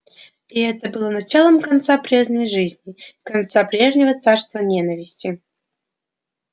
и это было началом конца прежней жизни конца прежнего царства ненависти